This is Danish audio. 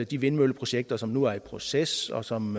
de vindmølleprojekter som nu er i proces og som